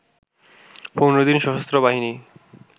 ১৫ দিন সশস্ত্রবাহিনী